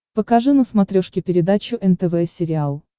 покажи на смотрешке передачу нтв сериал